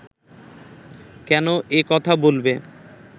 কেন এ কথা বলবে